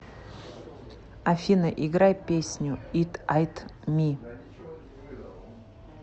афина играй песню ит айт ми